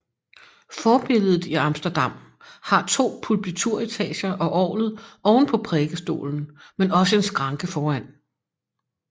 Forbilledet i Amsterdam har to pulpituretager og orglet oven på prædikestolen men også en skranke foran